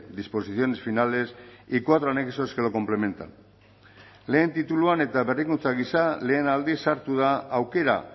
disposiciones finales y cuatro anexos que lo complementan lehen tituluan eta berrikuntza gisa lehen aldiz sartu da aukera